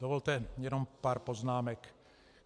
Dovolte jenom pár poznámek.